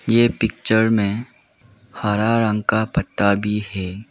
ये पिक्चर में हरा रंग का पत्ता भी है।